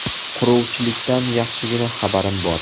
Quruvchilikdan yaxshigina xabarim bor.